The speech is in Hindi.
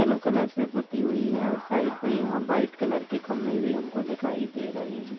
येलो कलर से पुती हुई है और साइड में यहाँ व्हाइट कलर के खंभे भी हमको दिखाई दे रहे हैं।